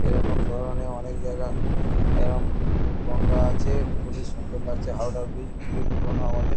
এরকম ধরণের অনেক জায়গা এরম গঙ্গা আছে। খুবই সুন্দর লাগছে। হাওড়া ব্রীজ খুবই পুরোনো আমাদের।